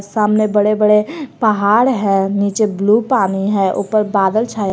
सामने बड़े बड़े पहाड़ है नीचे ब्लू पानी है ऊपर बादल छाए--